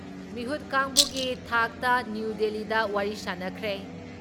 ꯃꯤꯍꯨꯠ ꯀꯥꯡꯕꯨꯒꯤ ꯊꯥꯛꯇ ꯅ꯭ꯌꯨ ꯗꯤꯜꯂꯤꯗ ꯋꯥꯔꯤ ꯁꯥꯟꯅꯈ꯭ꯔꯦ ꯫